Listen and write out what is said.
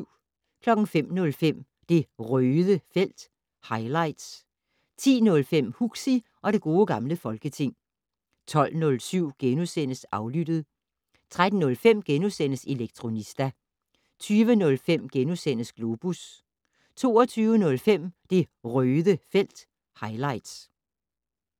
05:05: Det Røde felt - highlights 10:05: Huxi og det gode gamle folketing 12:07: Aflyttet * 13:05: Elektronista * 20:05: Globus * 22:05: Det Røde felt - highlights